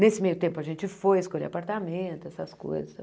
Nesse meio tempo, a gente foi escolher apartamento, essas coisas.